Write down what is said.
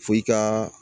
F'i ka